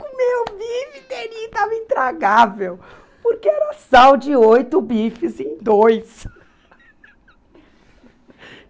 Comeu o bife inteirinho estava intragável, porque era sal de oito bifes em dois.